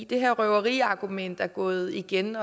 det her røveriargument er gået igen